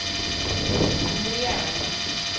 mbuyane